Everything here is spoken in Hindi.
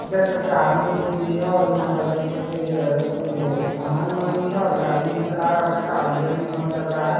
देख सकते हैं आदमी उदमी भी है और यहाँ पर देख सकते हैं ये कुछ समान-उमान भी है और गाड़ी उड़ी चला रहा है बच्चा और ये भी मॉल लग रहा है।